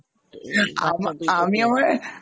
বাচ্চা দুটোকে আমা আমি~আমার